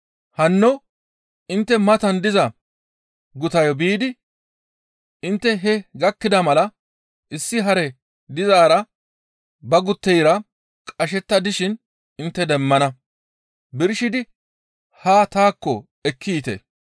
«Hanno intte matan diza gutayo biidi intte hee gakkida mala issi hare dizaara ba gutteyra qashetta dishin intte demmana. Birshidi haa taakko ekki yiite.